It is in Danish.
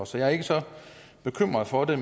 så jeg er ikke så bekymret for det